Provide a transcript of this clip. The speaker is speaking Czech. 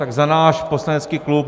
Tak za náš poslanecký klub.